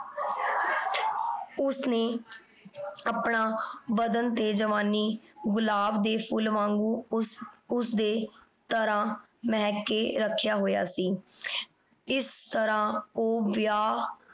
ਓਸਨੇ ਆਪਣਾ ਬਦਨ ਤੇ ਜਵਾਨੀ ਗੁਲਾਬ ਦੇ ਫੁਲ ਵਾਂਗੂ ਓਸਦੇ ਤਰਹ ਮੇਹਕ ਕੇ ਰਖ੍ਯਾ ਹੋਯਾ ਸੀ ਏਸ ਤਰਹ ਊ ਵਿਯਾਹ